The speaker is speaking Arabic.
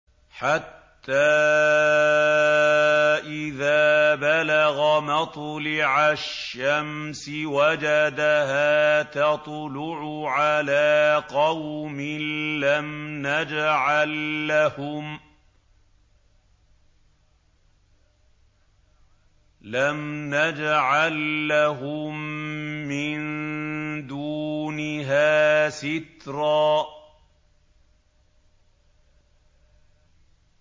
حَتَّىٰ إِذَا بَلَغَ مَطْلِعَ الشَّمْسِ وَجَدَهَا تَطْلُعُ عَلَىٰ قَوْمٍ لَّمْ نَجْعَل لَّهُم مِّن دُونِهَا سِتْرًا